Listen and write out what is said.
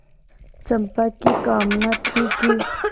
चंपा की कामना थी कि